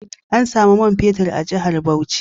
An samu man fetur a jihar Bauchi